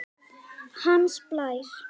Hans Blær